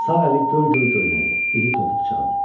Sağ əli göl-göl göynədi, dili topuq çaldı.